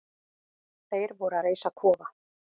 Þeir voru að reisa kofa.